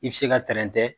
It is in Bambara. I bɛ se ka trɛntɛ